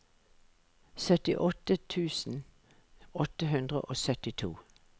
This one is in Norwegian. syttiåtte tusen åtte hundre og syttito